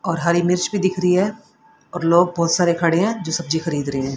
और हरी मिर्च भी दिख रही है और लोग बहोत सारे खड़े है जो सब्जी खरीद रहे है।